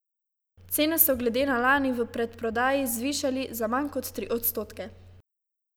Cene so glede na lani v predprodaji zvišali za manj kot tri odstotke.